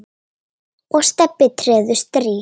og Stebbi treður strý.